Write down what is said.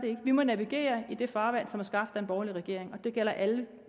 ikke vi må navigere i det farvand som er skabt af en borgerlig regering og det gælder alle